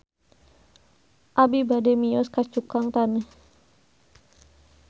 Abi bade mios ka Cukang Taneuh